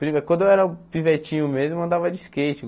quando eu era pivetinho mesmo, eu andava de skate.